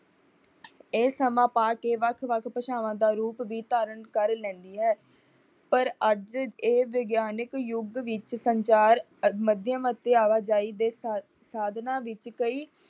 ਇਹ ਸਮਾਂ ਪਾ ਕੇ ਵੱਖ-ਵੱਖ ਭਾਸ਼ਵਾਂ ਦਾ ਰੂਪ ਵੀ ਧਾਰਨ ਕਰ ਲੈਂਦੀ ਹੈ, ਪਰ ਅੱਜ ਇਹ ਵਿਗਿਆਨਿਕ ਯੁੱਗ ਵਿੱਚ ਸੰਚਾਰ ਮਧਿਅਮ ਅਤੇ ਆਵਾਜਾਈ ਦੇ ਸਾਧਨਾਂ ਵਿੱਚ ਕਈ